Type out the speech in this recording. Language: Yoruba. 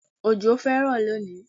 Òjò fẹ́ rọ̀ lónìí